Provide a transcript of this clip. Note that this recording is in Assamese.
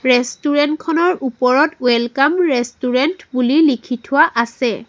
ৰেষ্টোৰেন্ত খনৰ ওপৰত ৱেলকাম ৰেষ্টোৰেন্ত বুলি লিখি থোৱা আছে।